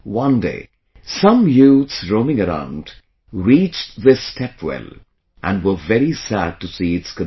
One day some youths roaming around reached this stepwell and were very sad to see its condition